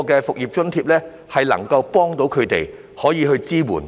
"復業津貼"能夠幫助他們，可以提供支援。